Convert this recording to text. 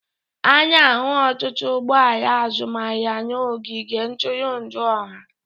A na-ahụ ọtụtụ ụgbọ ala azụmahịa n'ogige ntụrụndụ ọha